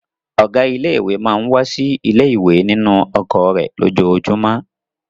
Ọ̀gá ilé-ìwé máa ń wá sí ilé-ìwé nínú ọkọ̀ rẹ̀ lójoojúmọ́.